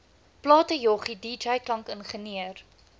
platejoggie dj klankingenieur